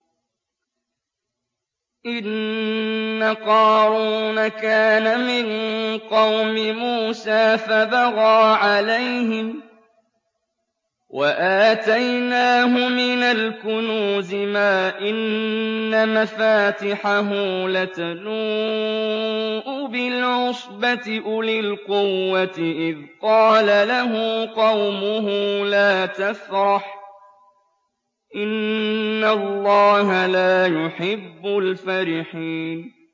۞ إِنَّ قَارُونَ كَانَ مِن قَوْمِ مُوسَىٰ فَبَغَىٰ عَلَيْهِمْ ۖ وَآتَيْنَاهُ مِنَ الْكُنُوزِ مَا إِنَّ مَفَاتِحَهُ لَتَنُوءُ بِالْعُصْبَةِ أُولِي الْقُوَّةِ إِذْ قَالَ لَهُ قَوْمُهُ لَا تَفْرَحْ ۖ إِنَّ اللَّهَ لَا يُحِبُّ الْفَرِحِينَ